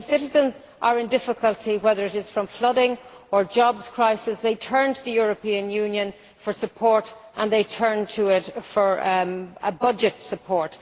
When citizens are in difficulty, whether it is from flooding or a jobs crisis, they turn to the European Union for support and they turn to it for budget support.